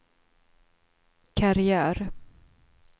karriär